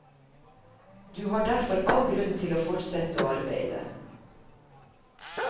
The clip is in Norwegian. Du har derfor all grunn til å fortsette å arbeide.